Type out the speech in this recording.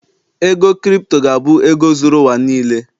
ego crypto ga-abụ ego zuru ụwa n'lee